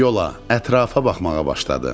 Yola, ətrafa baxmağa başladı.